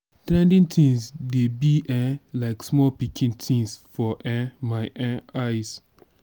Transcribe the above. trending things dey be um like small pikin things for um my um eyes